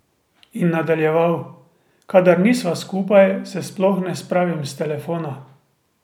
In nadaljeval: 'Kadar nisva skupaj, se sploh ne spravim s telefona.